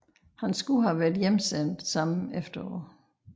Han skulle have været hjemsendt samme efterår